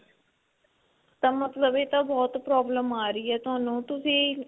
ਤਾਂ ਮਤਲਬ ਇਹ ਤਾਂ ਬਹੁਤ problem ਆ ਰਹੀ ਹੈ ਤੁਹਾਨੂੰ ਤੁਸੀਂ